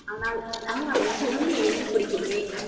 ஆனால் ஆமா நீ சொல்லு ஏன் பிடிக்கும் ஏன்